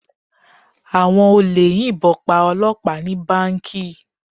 Àwọn olè yìnbọn pa Ọlọpa ni Báǹkì.